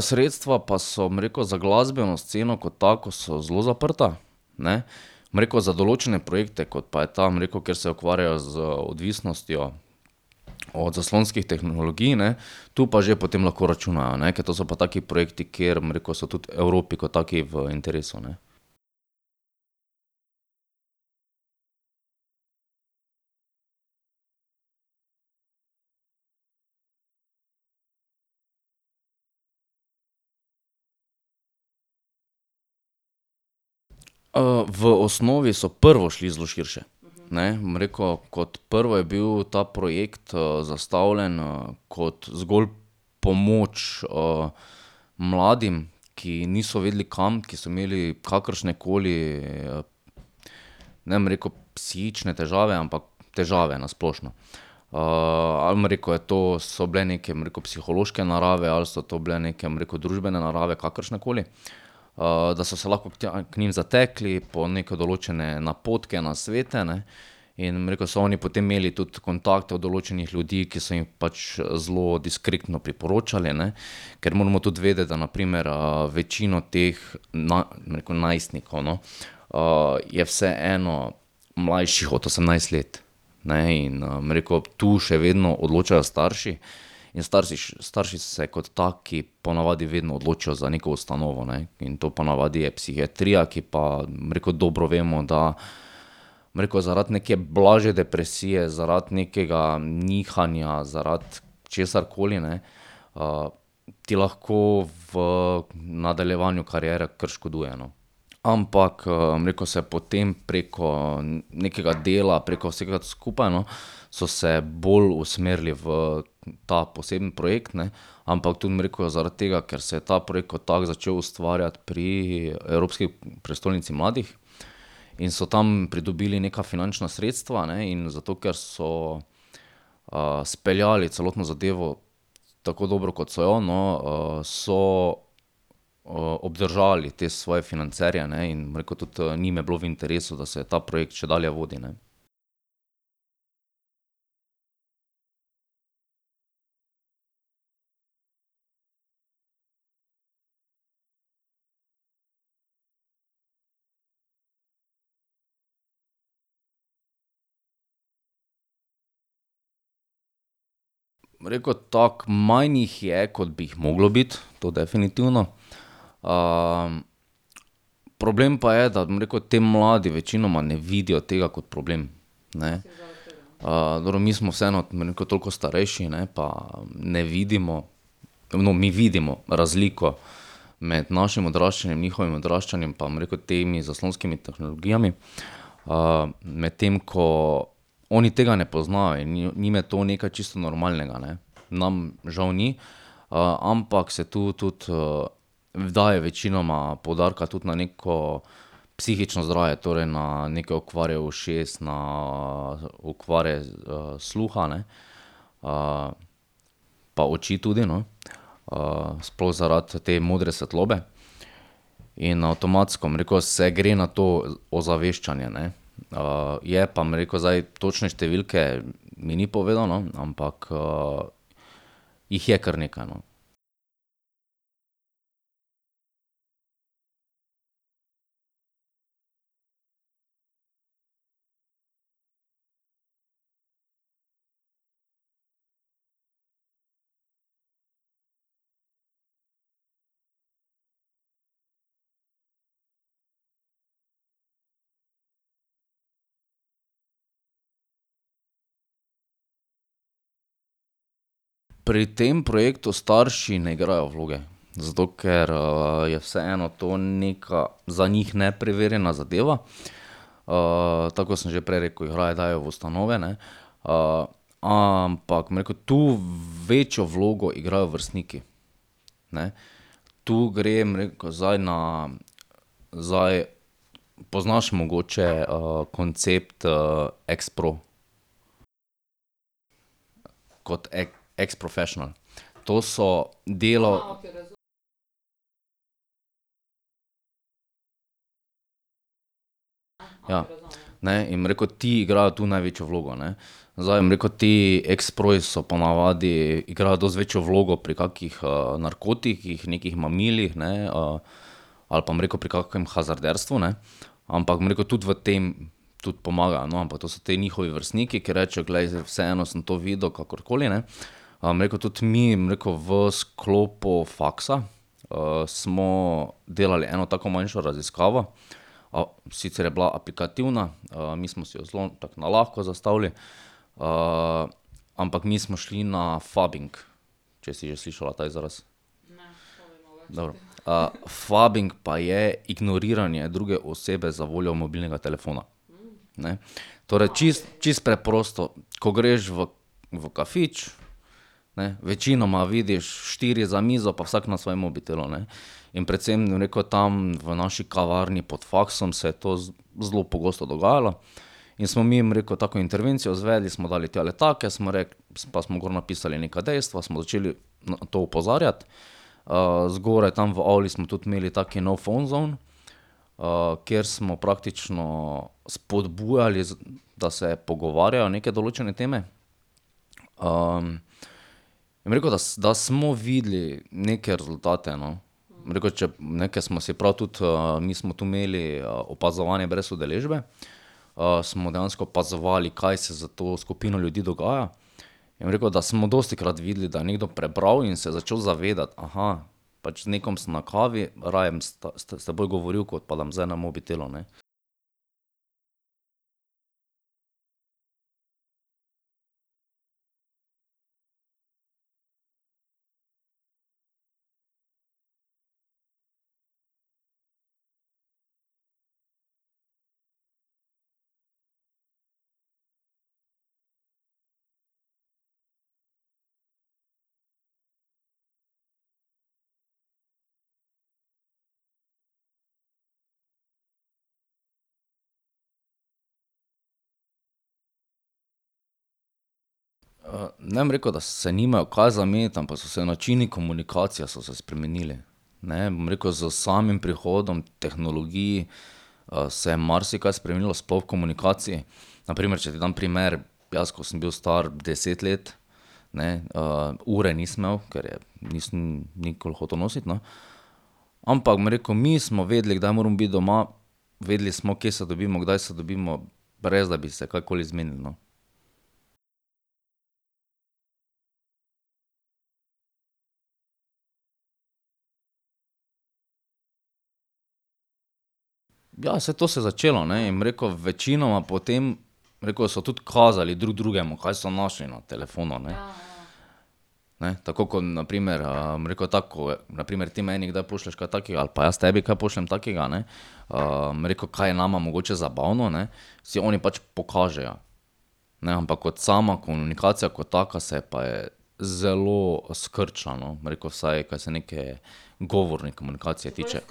sredstva pa so, bom rekel, za glasbeno sceno kot tako so zelo zaprta, ne, bom rekel, za določene projekte, kot pa je ta, bom rekel, kjer se ukvarjajo z odvisnostjo od zaslonskih tehnologij, ne, tu pa že potem lahko računajo, ne, ker to so pa taki projekti, kjer, bom rekel, so tudi Evropi kot taki v interesu, ne. v osnovi so prvo šli zelo širše, ne. Bom rekel, kot prvo je bil ta projekt zastavljen, kot zgolj pomoč, mladim, ki niso vedeli, kam, ki so imeli kakršne koli, ne bom rekel psihične težave, ampak težave na splošno. ali bom rekel, to so bile neke, bom rekel, psihološke narave ali so to bile neke, bom rekel, družbene narave, kakršnekoli, da so se lahko tja k njim zatekli po neke določene napotke, nasvete, ne. In, bom rekel, so oni potem imeli tudi kontakt od določenih ljudi, ki so jim pač zelo diskretno priporočali, ne. Ker moramo tudi vedeti, da na primer, večino teh bom rekel, najstnikov, no, je vseeno mlajših od osemnajst let, ne, in, bom rekel, tu še vedno odločajo starši in starši se kot taki po navadi vedno odločijo za neko ustanovo, ne. In to po navadi je psihiatrija, ki pa, bom rekel, dobro vemo, da, bom rekel, zaradi neke blažje depresije, zaradi nekega nihanja, zaradi česarkoli, ne, ti lahko v nadaljevanju kariere kar škoduje, no. Ampak, bom rekel, se potem preko nekega dela, preko vsega skupaj, no, so se bolj usmerili v ta posebni projekt, ne, ampak tudi, bom rekel, zato ker se je ta projekt kot tako začel ustvarjati pri Evropski prestolnici mladih, in so tam pridobili neka finančna sredstva, ne, in zato ker so, speljali celotno zadevo tako dobro, kot so jo, no, so, obdržali te svoje financerje, ne, in, bom rekel, tudi, njim je bilo v interesu, da se ta projekt še dalje vodi, ne. Bom rekel tako, manj jih je, kot bi jih moglo biti, to definitivno, problem pa je, da, bom rekel, ti mladi večinoma ne vidijo tega kot problem, ne. dobro, mi smo vseeno, bom rekel, toliko starejši, ne, pa ne vidimo, no, mi vidimo razliko med našim odraščanjem, njihovim odraščanjem pa, bom rekel, temi zaslonskimi tehnologijami, medtem ko oni tega ne poznajo in njim je to nekaj čisto normalnega, ne. Nam žal ni, ampak se tu tudi, daje večinoma poudarka tudi na neko psihično zdravje, torej na neke okvare ušes, na okvare sluha, ne. pa oči tudi, no. sploh zaradi te modre svetlobe. In avtomatsko, bom rekel, se gre na to ozaveščanje, ne. je pa, bom rekel, zdaj točne številke mi ni povedal, no, ampak, jih je kar nekaj, no. Pri tem projektu starši ne igrajo vloge. Zato ker, je vseeno to neka za njih nepreverjena zadeva. tako, kot sem že prej rekel, jih raje dajo v ustanove, ne. ampak, bom rekel, tu večjo vlogo igrajo vrstniki, ne. Tu gre, bom rekel, zdaj na zdaj poznaš mogoče, koncept, ekspro? Kot ex professional. To so delo ... Ja. Ne, in, bom rekel, ti igrajo tu največjo vlogo, ne. Zdaj, bom rekel, ti eksproji so po navadi, igrajo dosti večjo vlogo pri kakih, narkotikih, nekih mamilih, ne, ali pa, bom rekel, pri kakšnem hazarderstvu, ne, ampak, bom rekel, tudi v tem tudi pomagajo, no, ampak to so te njihovi vrstniki, ko rečejo: "Glej, zdaj vseeno sem to videl, kakorkoli, ne." bom rekel, tudi mi, bom rekel, v sklopu faksa smo delali eno tako manjšo raziskavo, sicer je bila aplikativna, mi smo si jo zelo tako nalahko zastavili, ampak mi smo šli na phubbing. Če si že slišala ta izraz. Dobro. phubbing pa je ignoriranje druge osebe zavoljo mobilnega telefona, ne. Torej čisto, čisto preprosto. Ko greš v v kafič, ne, večinoma vidiš štiri za mizo, pa vsak na svojem mobitelu, ne. In predvsem, bom rekel, tam v naši kavarni pod faksom se je to zelo pogosto dogajalo. In smo mi, bom rekel, tako intervencijo izvedli, smo dali tja letake, smo pa smo gor napisali neka dejstva, smo začeli na to opozarjati. zgoraj tam v avli smo tudi imeli taki no phone zone, kjer smo praktično spodbujali da se pogovarjajo neke določene teme. in bom rekel, da da smo videli neke rezultate, no. Bom rekel, če, ne, kar smo si prav tudi, mi smo tu imeli opazovanje brez udeležbe, smo dejansko opazovali, kaj se s to skupino ljudi dogaja, in bom rekel, da smo dostikrat videli, da je nekdo prebral in se začeli zavedati: pač z nekom sem na kavi, raje bom s s teboj govoril, kot pa da bom zdaj na mobitelu, ne." ne bom rekel, da se nimajo kaj za meniti, ampak so se načini komunikacije so se spremenili, ne. Bom rekel, s samim prihodom tehnologij, se je marsikaj spremenilo, sploh v komunikaciji. Na primer, če ti dam primer, jaz ko sem bil star deset let, ne, ure nisem imel, ker je nisem nikoli hotel nositi, no, ampak bom rekel, mi smo vedeli, kdaj moramo biti doma, vedeli smo, kje se dobimo, kdaj se dobimo, brez da bi se karkoli zmenili, no. Ja, saj to se je začelo, ne. In bom rekel, večinoma potem, bom rekel, so tudi kazali drug drugemu, kaj so našli na telefonu, ne. Ne, tako kot na primer, bom rekel, tako, kot na primer ti meni kdaj pošlješ kaj takega ali pa jaz tebi kaj pošljem takega, ne, bom rekel, kaj je nama mogoče zabavno, ne, si oni pač pokažejo, ne. Ampak kot sama komunikacija kot taka se pa je zelo skrčila no, bom rekel, vsaj, kaj se neke govorne komunikacije tiče.